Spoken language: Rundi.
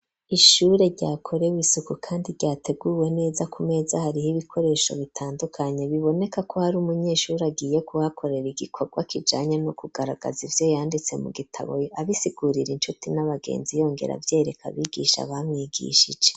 Ishure ryakorewe isuku kandi ryateguwe neza ku meza hariho ibikoresho bitandukanye biboneka ko hari umunyeshuri agiye kuhakorera igikorwa kijanya no kugaragaza ivyo yanditse mu gitabo abisigurira incuti n'abagenzi yongera avyereka abigisha bamwigishije.